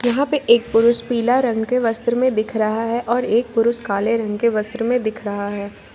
यहां पे एक पुरुष पीला रंग के वस्त्र में दिख रहा है और एक पुरुष काले रंग के वस्त्र में दिख रहा है ।